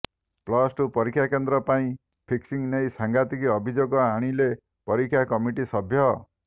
plus two ପରୀକ୍ଷା କେନ୍ଦ୍ର ପାଇଁ ଫିକ୍ସିଂ ନେଇ ସାଙ୍ଘାତିକ ଅଭିଯୋଗ ଆଣିଲେ ପରୀକ୍ଷା କମିଟି ସଭ୍ୟ